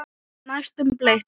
Næstum bleik.